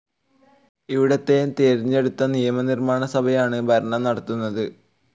ഇവിടുത്തെ തിരഞ്ഞെടുത്ത നിയമനിർമാണസഭയാണ് ഭരണം നടത്തുന്നത്